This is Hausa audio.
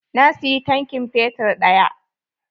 Na siyi tankin fetur ɗaya.